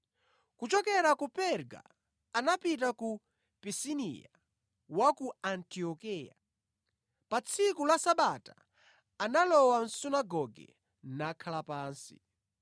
Kuchokera ku Perga anapita ku Pisidiya wa ku Antiokeya. Pa tsiku la Sabata analowa mʼsunagoge, nakhala pansi.